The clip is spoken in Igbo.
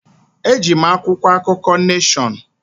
Eji m akwụkwọ akụkọ Neshọn.